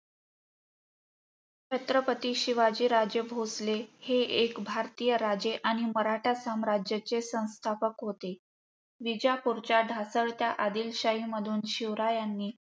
छत्रपती शिवाजी राजे भोसले. हे एक भारतीय राजे आणि मराठा साम्राजाचे संस्थापक होते. विजापूरच्या ढासळत्या आदिलशाही मधून शिवरायांनी